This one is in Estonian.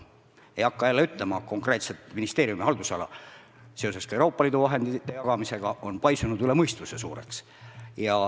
Ei hakka jälle ütlema konkreetset ministeeriumi haldusala, aga seoses Euroopa Liidu vahendite jagamisega on see paisunud üle mõistuse suureks.